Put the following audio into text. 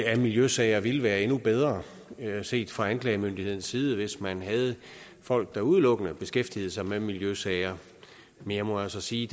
af miljøsager ville være endnu bedre set fra anklagemyndighedens side hvis man havde folk der udelukkende beskæftigede sig med miljøsager men jeg må altså sige